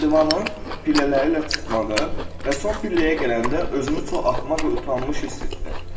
Nərdivanın pillələri ilə çıxmağı və son pilləyə gələndə özümü çox axmaq və utanmış hiss etdim.